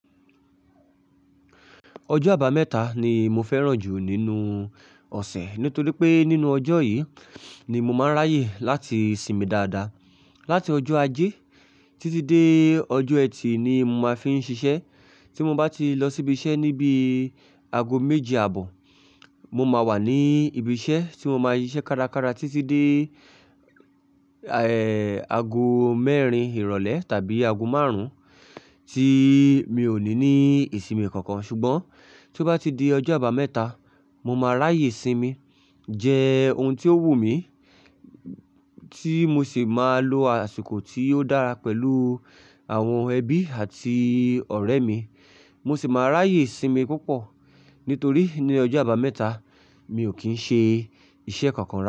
Ọjọ́ àbámẹ́ta ni mo fẹ́ràn jù nínú ọ̀sẹ̀. Nítorí pé nínú ọjọ́ yìí ni mo máa ń ráyè láti sinmi dáadáa. Láti ọjọ́ Ajé títí dé ọjọ́ ẹtì ni mo máa fi ń ṣiṣẹ́. Tí mo bá ti lọ sí ibiṣẹ́ níbi aago méje àbọ̀, mo máa wà ní ibiṣẹ́ tí mo máa ń ṣiṣẹ́ kárakára títí dé, ẹ, aago mẹ́rin ìrọ̀lẹ́ tàbí aago márùn-ún tí mi ò ní ní ìsinmi kankan. Ṣùgbọ́n tí ó bá ti di ọjọ́ àbámẹ́ta, mo máa ráyè sinmi, jẹ ohun tí ó wù mí tí mo sì máa lo àsìkò tí ó dára pẹ̀lú àwọn ẹbí àti ọ̀rẹ́ mi. Mo sì máa ráyè sinmi púpọ̀. Nítorí ní ọjọ́ àbámẹ́ta, mi ò kí ń ṣe iṣẹ́ kankan rárá.